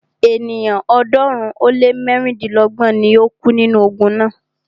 Ènìyàn ọ̀ọ́dúnrún ó lé mẹ́rìndínlọ́gbọ̀n ni o kú nínú ogun náà.